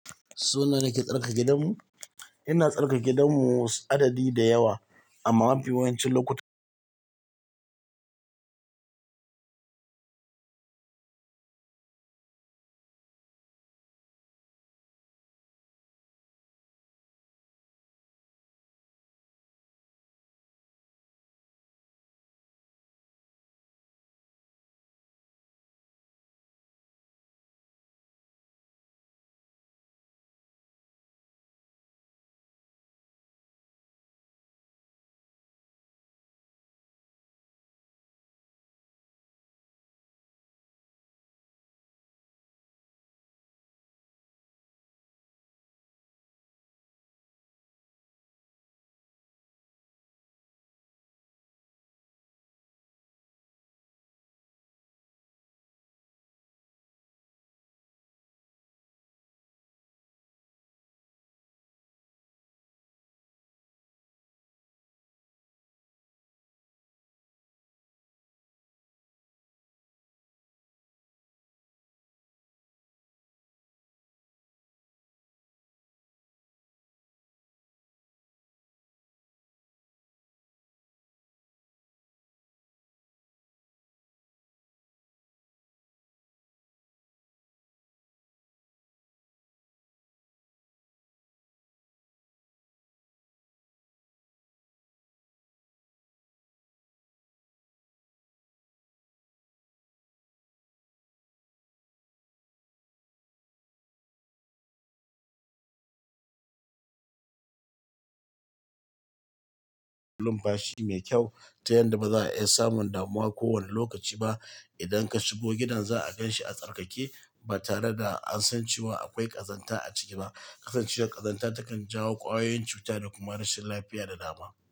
Sau nawa nake tsarkake gidanmu? Ina tsarkake gidanmu adadi da yawa amma mafi yawancin lokuta bashi mai kyau ta yanda baza a iya samun damuwa kowanne lokaci ba. Idan ka shigo gidan za'a ganshi a tsarkake ba tare da ansan cewa akwai ƙazanta a ciki ba. Kasancewar ƙazanta takan jawo ƙwayoyin cuta da kuma rashin lafiya da dama.